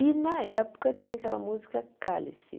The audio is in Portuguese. E, na época, tinha aquela música Cálice.